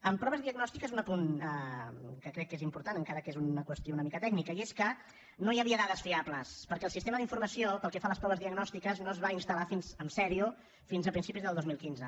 en proves diagnòstiques un apunt que crec que és important encara que és una qüestió una mica tècnica i és que no hi havia dades fiables perquè el sistema d’informació pel que fa a les proves diagnòstiques o es va instal·lar seriosament fins a principis del dos mil quinze